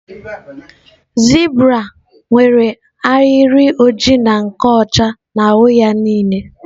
Zebra nwere ahịrị oji na nke ọcha n'ahụ ya niile